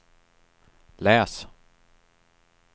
läs